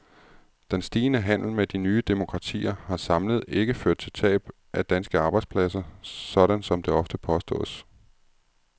Den stigende handel med de nye demokratier har samlet ikke ført til tab af danske arbejdspladser, sådan som det ofte påstås.